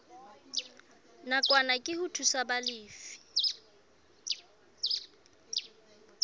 nakwana ke ho thusa balefi